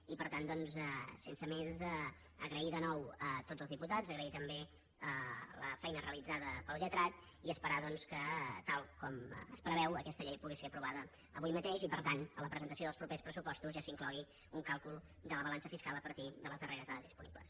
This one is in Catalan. i per tant doncs sense més agrair de nou a tots els diputats agrair també la feina realitzada pel lletrat i esperar doncs que tal com es preveu aquesta llei pugui ser aprovada avui mateix i que per tant en la presentació dels propers pressupostos ja s’inclogui un càlcul de la balança fiscal a partir de les darreres dades disponibles